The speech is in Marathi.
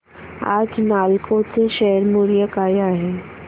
आज नालको चे शेअर मूल्य काय आहे